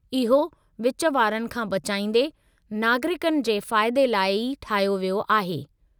इहो विच वारनि खां बचाइंदे, नागरिकनि जे फ़ाइदे लाइ ई ठाहियो वियो आहे।